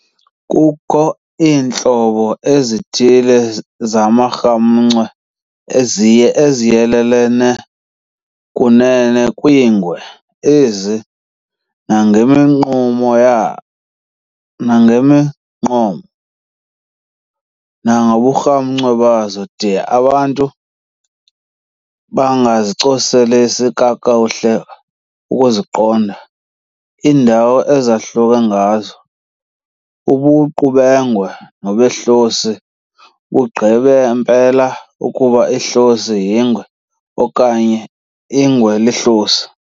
Kukho iintlobo ezithile zamarhamncwa eziyelele kunene kwiingwe ezi, nangeminqumo nangemigqumo, nangoburhamncwa bazo, de abantu bangazicoseleli kakuhle ukuziqonda iindawo ezahluke ngazo, ubuqu bengwe nobehlosi, bugqibe mpela ukuba ihlosi yingwe, okanye ingwe lihlosi.